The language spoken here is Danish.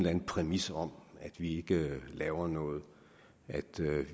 anden præmis om at vi ikke laver noget at